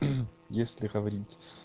если говорить